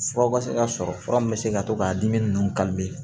Furaw ka se ka sɔrɔ fura min bɛ se ka to ka dimi ninnu